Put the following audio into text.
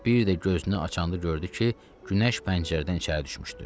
Bir də gözünü açanda gördü ki, Günəş pəncərədən içəri düşmüşdü.